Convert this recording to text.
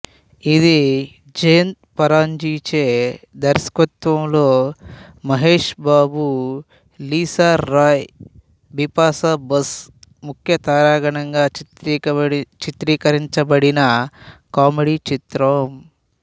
ఇది జయంత్ పరాంజీ చే దర్శకత్వంలో మహేష్ బాబు లీసారాయ్ బిపాషా బసు ముఖ్య తారాగణంగా చిత్రీకరించబడిన కామెడీ చిత్రం